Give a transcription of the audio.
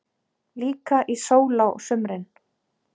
Líka í sól á sumrin.